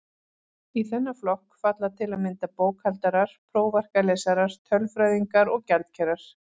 Í þennan flokk falla til að mynda bókhaldarar, prófarkalesarar, tölfræðingar og gjaldkerar.